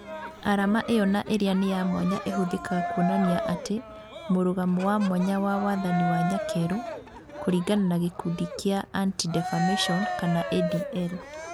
Arama ĩyo na ĩrĩa nĩ ya mwanya ĩhuthĩkaga kuonania atĩ " mũrũgamo wa mwanya wa wathani wa nyakerũ" kũringana na gĩkundi gĩa Anti-Defamation (ADL)